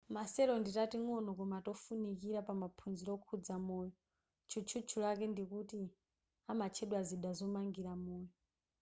ma cell ndi tating'ono koma tofunikira pamaphunziro okhuza moyo tchutchutchu lake ndikuti amatchedwa zida zomangira moyo